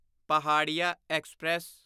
Paharia express